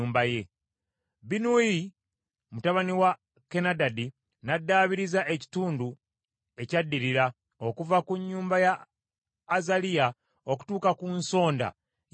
Binnuyi mutabani wa Kenadadi n’addaabiriza ekitundu ekyaddirira okuva ku nnyumba ya Azaliya okutuuka ku nsonda ya bbugwe,